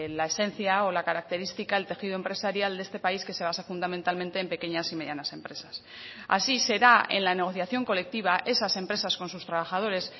la esencia o la característica el tejido empresarial de este país que se basa fundamentalmente en pequeñas y medianas empresas así será en la negociación colectiva esas empresas con sus trabajadores